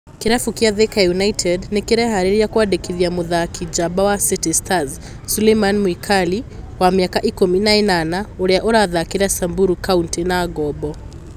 Kĩrabu kĩa Thika United nĩ kĩreharĩrĩria kwandĩkithia mũtharĩkĩri njamba wa City Stars Suleiman Mwikali, wa mĩaka ikũmi na ĩnana, ũrĩa ũrathakĩra Samburu County na ngombo